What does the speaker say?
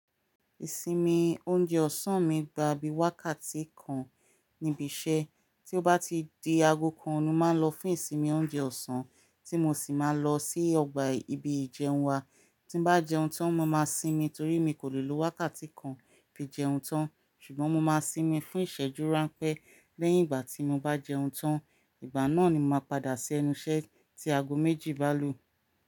Ìsinmi oúnjẹ ọ̀sán mi gba bí wákàtí kan níbi iṣẹ́, tí ó bá ti di aago kan, mo máa ń lọ fún ìsinmi oúnjẹ ọ̀sán tí mo sì máa lọ sí ọgbà ibi ìjẹun wa. Tí n bá jẹun tán, mo máa sinmi torí mi kò lè lo wákàtí kan fi jẹun tán. Ṣùgbọ́n mo máa sinmi fún ìṣẹ́jú ránpẹ́ lẹ́yìn ìgbà tí mo bá jẹun tán, ìgbà náà ni mo máa padà sí ẹnu iṣẹ́ tí aago méjì bá lù.